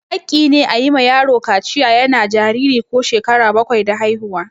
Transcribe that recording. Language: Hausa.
Haƙƙi ne a yi ma yaro kaciya yana jariri ko shekara bakwai da haihuwa.